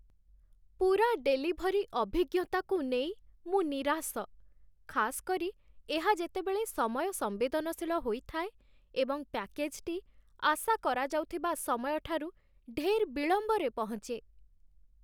ପୂରା ଡେଲିଭରି ଅଭିଜ୍ଞତାକୁ ନେଇ ମୁଁ ନିରାଶ, ଖାସ୍ କରି ଏହା ଯେତେବେଳେ ସମୟସମ୍ବେଦନଶୀଳ ହୋଇଥାଏ ଏବଂ ପ୍ୟାକେଜ୍ଟି ଆଶା କରାଯାଉଥିବା ସମୟଠାରୁ ଢେର୍ ବିଳମ୍ବରେ ପହଞ୍ଚେ।